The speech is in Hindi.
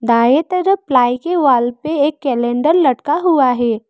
दाएं तरफ प्लाई के वॉल पे एक कैलेंडर लटका हुआ है।